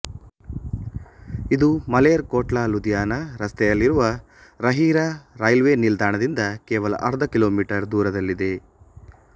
ಇದು ಮಲೇರ್ ಕೋಟ್ಲಾ ಲುಧಿಯಾನಾ ರಸ್ತೆಯಲ್ಲಿರುವ ರಹಿರಾ ರೈಲ್ವೆ ನಿಲ್ದಾಣದಿಂದ ಕೇವಲ ಅರ್ಧ ಕಿಲೋಮೀಟರ್ ದೂರದಲ್ಲಿದೆ